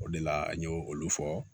O de la an y'o olu fɔ